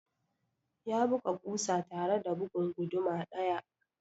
Ya buga ƙusa tare da bugun guduma ɗaya.